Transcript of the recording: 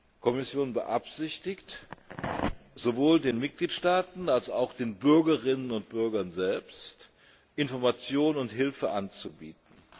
Die Kommission beabsichtigt, sowohl den Mitgliedstaaten als auch den Bürgerinnen und Bürgern selbst, Information und Hilfe anzubieten.